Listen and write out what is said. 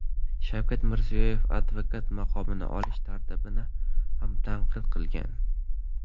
Shavkat Mirziyoyev advokat maqomini olish tartibini ham tanqid qilgan.